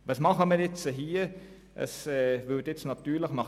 Meine Vorrednerin hat vorhin gesagt, die SP werde den VA ablehnen.